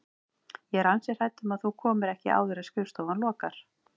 Ég er ansi hrædd um að þú komir ekki áður en skrifstofan lokar